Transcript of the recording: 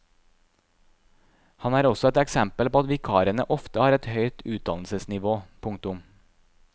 Han er også et eksempel på at vikarene ofte har høyt utdannnelsesnivå. punktum